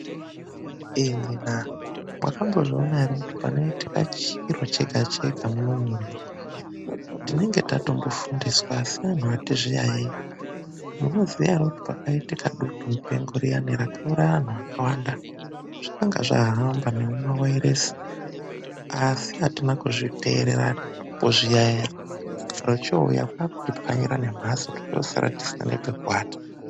Imwina!!, makambozviona here kuti panoitika chiro chega-chega munomu munyika ,tinenge tatombofundiswa asi vantu ati zviyayiyeyi. Munoziya here kuti pakaitika dutu mupengo riyana rakauraya vantu vakawanda ,zvanga zvahamba nemumawairesi asi atina kuzviteerera nokumbozviyayeya chiro chouya kuda kuti pwanyira nembatso tochosara tisina nepekuata.